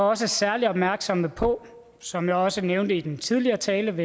også særlig opmærksomme på som jeg også nævnte i den tidligere tale om